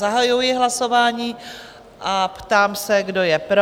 Zahajuji hlasování a ptám se, kdo je pro?